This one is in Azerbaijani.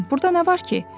Burda nə var ki?